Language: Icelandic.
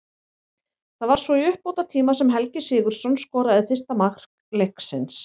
Það var svo í uppbótartíma sem Helgi Sigurðsson skoraði fyrsta mark leiksins.